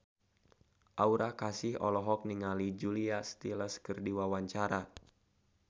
Aura Kasih olohok ningali Julia Stiles keur diwawancara